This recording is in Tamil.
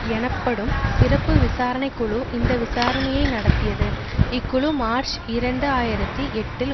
எனப்படும் சிறப்பு விசாரணை குழு இந்த விசாரணையை நடத்தியது இக்குழு மார்ச் இரண்டு ஆயிரத்தி எட்டில்